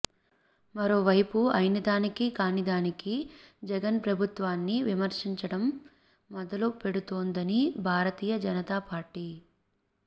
మరోవైపు అయినదానికీ కానిదానికి జగన్ ప్రభుత్వాన్ని విమర్శించడం మొదలుపెడుతోందని భారతీయ జనతా పార్టీ